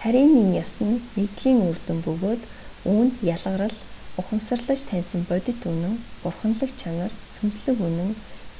таринын ёс нь нэгдэлийн үр дүн бөгөөд үүнд ялгарал ухамсарлаж таньсан бодит үнэн бурханлаг чанар сүнслэг үнэн